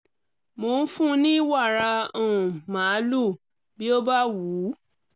mo ń fún un ní wàrà um màlúù bí ó bá wù ú